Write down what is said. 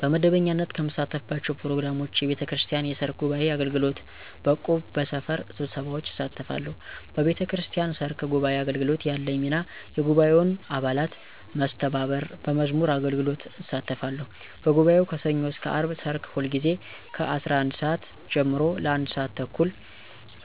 በመደበኛነት ከምሳተፍባቸው ፕሮግራሞች፣ የቤተክርስቲያን የሰርክ ጉባዔ አገልግሎት፣ በእቁብ፣ በሰፈር ስብሰባዎች እሳተፋተለሁ። በቤተክርስቲያን ሰርክ ጉባዓ አገልግሎት ያለኝ ሚና የጉባኤውን አባላት መስተባበር፣ በመዝሙር አገልግሎት እሳተፋለሁ፤ በጉባኤው ከሠኞ እስከ አርብ ሰርክ ሁልጊዜ ከ11:00 ሰዓት ጀምሮ ለ1:30 (ለአንድ ሰዓት ተኩል)